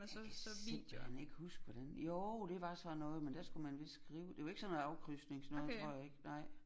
Jeg kan simpelthen ikke huske hvordan jo det var sådan noget men der skulle man vist skrive det var ikke sådan noget afkrydsningsnoget tror jeg ikke nej